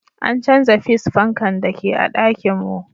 An canza fis fankan da ke a'ɗakin mun.